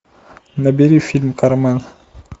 набери фильм кармен